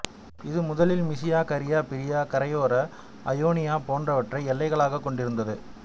இது முதலில் Mysia Caria Phrygia கரையோர அயோனியா போன்றவற்றை எல்லைகளாகக் கொண்டிருந்தது